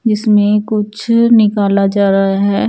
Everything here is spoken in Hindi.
इसमें कुछ निकला जा रहा है ।